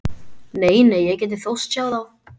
Nei, nei, ég gæti þóst sjá þá.